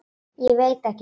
Ég veit ekki svarið.